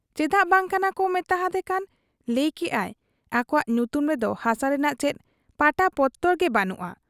ᱪᱮᱫᱟᱜ ᱵᱟᱝ ᱠᱟᱱᱟᱠᱚ ᱢᱮᱛᱟ ᱦᱟᱫᱮ ᱠᱷᱟᱱ ᱞᱟᱹᱭ ᱠᱮᱜ ᱟᱭ ᱟᱠᱚᱣᱟᱜ ᱧᱩᱛᱩᱢ ᱨᱮᱫᱚ ᱦᱟᱥᱟ ᱨᱮᱱᱟᱜ ᱪᱮᱫ ᱯᱟᱴᱟᱯᱚᱛᱚᱨ ᱜᱮ ᱵᱟᱹᱱᱩᱜ ᱟ ᱾